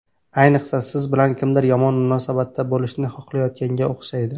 Ayniqsa, siz bilan kimdir yomon munosabatda bo‘lishni xohlayotganga o‘xshaydi.